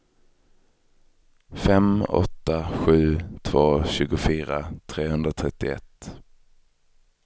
fem åtta sju två tjugofyra trehundratrettioett